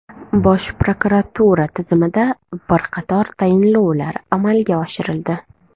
Bosh prokuratura tizimida bir qator tayinlovlar amalga oshirildi.